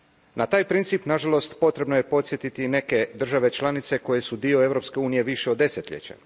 Na taj princip, na žalost, potrebno je podsjetiti i neke države članice koje su dio Europske unije više od desetljeća.